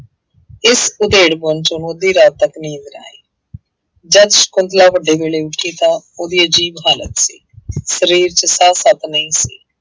ਇਸ ਉਧੇੜਪੁਣ ਚ ਉਹਨੂੰ ਅੱਧੀ ਰਾਤ ਤੱਕ ਨੀਂਦ ਨਾ ਆਈ ਜਦ ਸਕੁੰਤਲਾ ਵੱਡੇ ਵੇਲੇ ਉੱਠੀ ਤਾਂ ਉਹਦੀ ਅਜ਼ੀਬ ਹਾਲਤ ਸੀ ਸਰੀਰ ਚ ਸਾਹ ਸੱਤ ਨਹੀਂ ਸੀ।